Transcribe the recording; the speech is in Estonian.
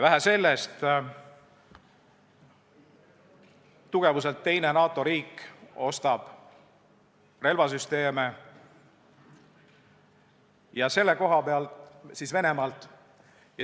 Vähe sellest, tugevuselt teine NATO riik ostab relvasüsteeme Venemaalt.